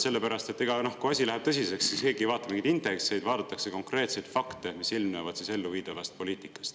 Sellepärast et kui asi läheb tõsiseks, siis keegi ei vaata mingeid indekseid, vaadatakse konkreetseid fakte, mis ilmnevad elluviidavas poliitikas.